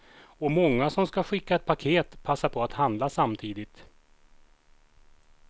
Och många som ska skicka ett paket passar på att handla samtidigt.